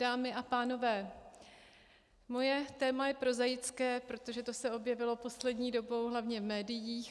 Dámy a pánové, moje téma je prozaické, protože to se objevilo poslední dobou hlavně v médiích.